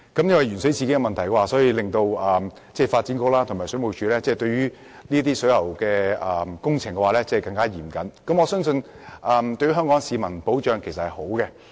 鉛水事件的發生，促使發展局和水務署對水喉工程的監管更加嚴謹，我相信這對保障香港市民來說是好事。